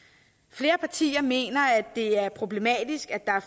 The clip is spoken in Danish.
flere partier mener at det er problematisk at der er